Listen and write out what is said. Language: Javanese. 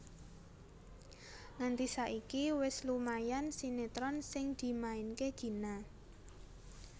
Nganti saiki wis lumayan sinetron sing dimainke Gina